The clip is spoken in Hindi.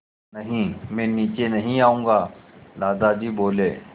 नहीं मैं नीचे नहीं आऊँगा दादाजी बोले